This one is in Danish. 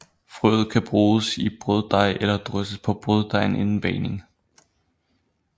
Frøet kan bruges i brøddej eller drysses på brøddejen inden bagning